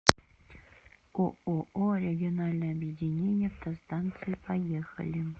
ооо региональное объединение автостанций поехали